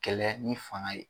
Kɛlɛ ni faŋa ye